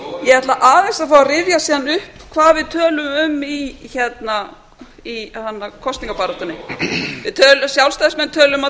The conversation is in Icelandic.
ég ætla aðeins að fá að rifja síðan upp hvað við töluðum um í kosningabaráttunni við sjálfstæðismenn töluðum um að